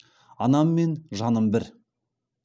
анаммен жаным бір